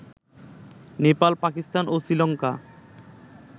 নেপাল, পাকিস্তান ও শ্রীলঙ্কা